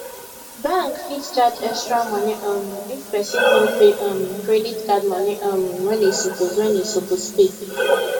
bank fit charge extra money um if person no pay um credit card money um when e suppose when e suppose pay